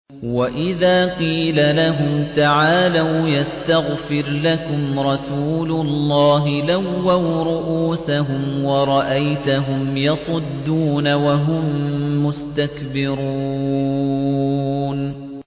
وَإِذَا قِيلَ لَهُمْ تَعَالَوْا يَسْتَغْفِرْ لَكُمْ رَسُولُ اللَّهِ لَوَّوْا رُءُوسَهُمْ وَرَأَيْتَهُمْ يَصُدُّونَ وَهُم مُّسْتَكْبِرُونَ